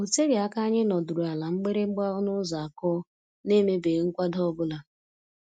O teghị aka anyị nọdụrụ ala mgbịrị mgba ọnụ ụzọ akụọ, n'emebeghị nkwado ọ bụla.